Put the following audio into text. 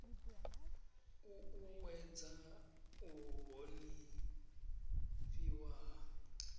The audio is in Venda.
u uuwedza u honifhiwa ha